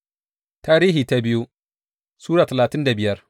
biyu Tarihi Sura talatin da biyar